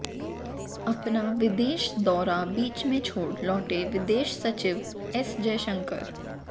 अपना विदेश दौरा बीच में छोड़ लौटे विदेश सचिव एस जयशंकर